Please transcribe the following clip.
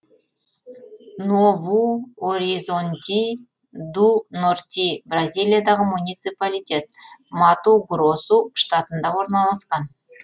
нову оризонти ду норти бразилиядағы муниципалитет мату гросу штатында орналасқан